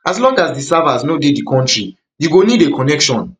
as long as di servers no dey di country you go need a connection